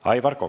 Aivar Kokk.